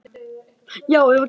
Það er einhver kreppa í